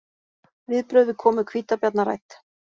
Viðbrögð við komu hvítabjarna rædd